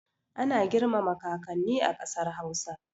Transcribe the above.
Ana girmama kakanni a ƙasar hausa